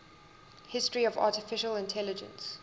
history of artificial intelligence